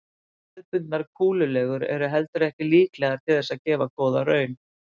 Hefðbundnar kúlulegur eru heldur ekki líklegar til þess að gefa góða raun.